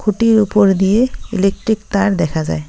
টির উপর দিয়ে ইলেকট্রিক তার দেখা যায়।